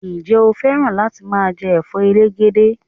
Ǹjẹ́ o fẹ́ràn láti máa jẹ Ẹ̀fọ́ elegede?